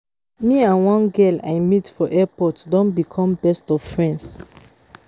Me and one girl I meet for airport don become best of friends